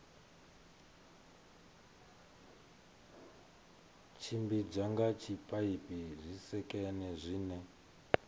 tshimbidzwa nga zwipaipi zwisekene zwine